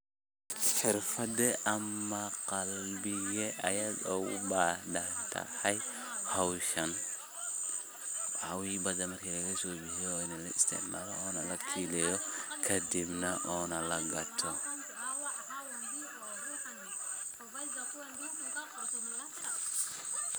Xeerfade amh qabike Aya ugu bahdahtaa hooshan, waxawaye bathan marki Laga isticmalah kadib setha kadib ona laga gatha.